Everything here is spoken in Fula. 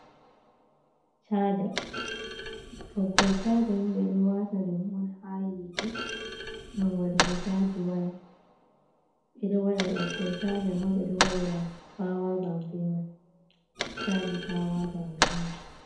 Caaja, ɓoggol caaja ni ɓe ɗo wata ɗum on ha yite, ngam waɗugo caaji waya. Ɓe ɗo waɗa ɓoggol caaja man, ɓe ɗo waɗira pawa bank be mai, caaji pawa bank be mai.